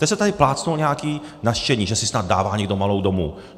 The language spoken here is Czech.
Teď jste tady plácnul nějaký nařčení, že si snad dává někdo malou domů.